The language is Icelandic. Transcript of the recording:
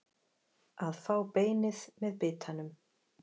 Að fá beinið með bitanum